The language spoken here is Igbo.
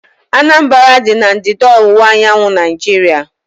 Anambra dị na ndịda-ọwụwa anyanwụ Naijiria